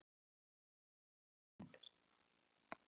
Ég fór inn.